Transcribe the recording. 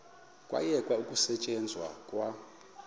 kwayekwa ukusetyenzwa kwa